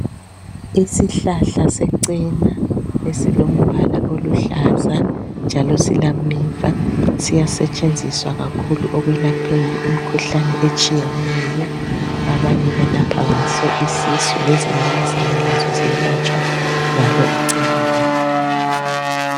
Isihlahla secena silombala oluhlaza njalo silameva siyancedisa kakhulu ekwelapheni imikhuhlane etshiyeneyo abanye belapha isisu lezinyamazana lazo ziyaletshwa ngalo icena leli